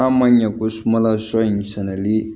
N'a ma ɲɛ ko sumala sɔ in sɛnɛli